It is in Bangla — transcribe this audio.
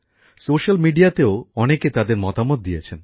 সোশ্যাল মিডিয়াতেও অনেকে তাদের মতামত দিয়েছেন